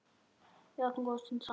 Við áttum góða stund saman.